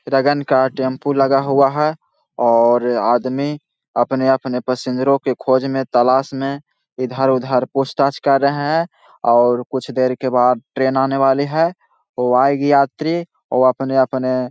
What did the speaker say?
रगन का टेम्पू लगा हुआ है और आदमी अपने-अपने पसिंजरो के खोज में तलाश में इधर-उधर पूछ-ताछ कर रहे हैं और कुछ देर के बाद ट्रैन आने वाली है वो आएगी यात्री अपने-अपने --